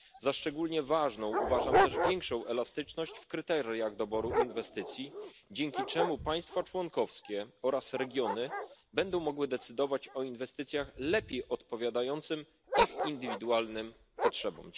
Za szczególnie ważną uważam też większą elastyczność w kryteriach doboru inwestycji, dzięki czemu państwa członkowskie oraz regiony będą mogły decydować o inwestycjach lepiej odpowiadających ich indywidualnym potrzebom.